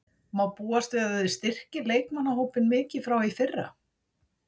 Má búast við að þið styrkið leikmannahópinn mikið frá í fyrra?